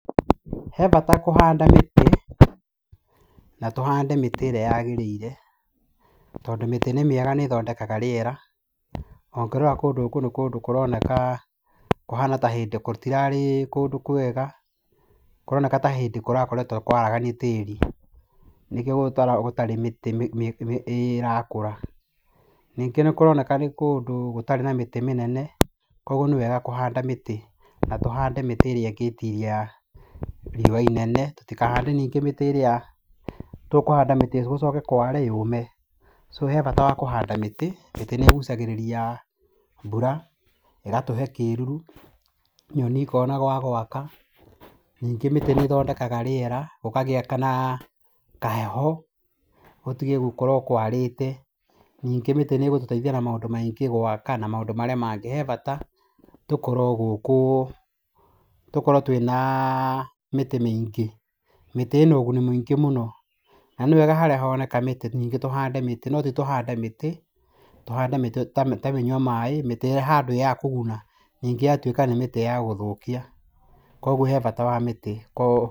He bata kũhanda mĩtĩ, na tũhande mĩtĩ ĩrĩa yagĩrĩire, tondũ mĩtĩ nĩ mĩega nĩ ĩthondekaga rĩera. Na ũngĩrora kũndũ kũu nĩ kũndũ kũroneka , gũtirarĩ kũndũ kwega, kũroneka ta arĩ hĩndĩ kũrakoretwo kwaraganĩtio tĩri. Nĩkĩo gũtarĩ mĩtĩ ĩrakũra. Nĩngĩ nĩ kũroneka nĩ kũndũ gũtarĩ na mĩtĩ mĩnene koguo nĩ wega kũhanda mĩtĩ na tũhande mĩtĩ ĩrĩa ĩngĩtiria riũa inene tũtikahande mĩtĩ irĩa tũkũhanda mĩtĩ kware yũme. Harĩ bata wa kũhanda mĩtĩ, mĩtĩ nĩ ĩgũcagĩrĩria mbura, ĩgatũhe kĩruru nyoni ikona ha gwaka, ningĩ mĩtĩ nĩ ĩthondekaga rĩera gũkagĩa na kaheho, gũtige gũkorwo kwarĩte nyingĩ mĩtĩ nĩ ĩgũtũteithia na maũndũ maingĩ, gwaka na maũndũ marĩa mangĩ. He bata tũkorwo gũkũ, tũkorwo twĩna mĩtĩ mĩingĩ, mĩtĩ ĩna ũguni mũingĩ mũno na nĩ wega harĩa honeka mĩtĩ nyingĩ tũhande mĩtĩ no titũhande mĩtĩ, tũhande mĩtĩ ta mĩnyua maaĩ mĩtĩ ĩhando ya kũguna ningĩ ĩgatuĩka nĩ mĩtĩ ya gũthũkia koguo hena bata wa mĩtĩ.